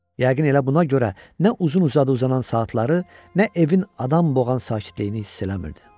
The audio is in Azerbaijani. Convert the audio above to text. Yəqin elə buna görə nə uzun-uzadı uzanan saatları, nə evin adam boğan sakitliyini hiss eləmirdi.